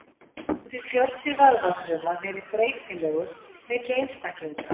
Þó getur fjöldi vöðvafruma verið breytilegur milli einstaklinga.